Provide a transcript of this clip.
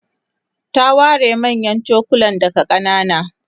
ta ware manyan chokulan daga kanana